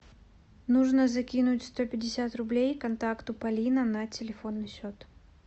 нужно закинуть сто пятьдесят рублей контакту полина на телефонный счет